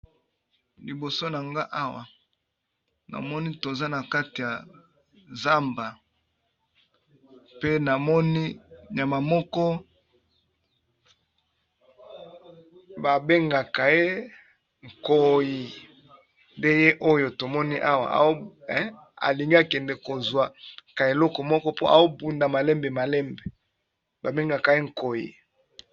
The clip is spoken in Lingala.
Liboso na nga awa na moni toza na kati ya zamba pe na moni nyama moko ba bengaka ye nkoyi, nde ye oyo tomoni awa alingi akende kozwa ka eloko moko po ao bunda malembe malembe ba bengaka ye nkoyi.